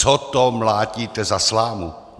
Co to mlátíte za slámu?